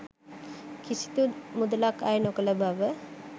කිසිදු මුදලක් අය නොකළ බව